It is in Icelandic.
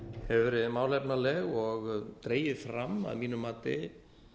hefur verið málefnaleg og dregið fram að mínu mati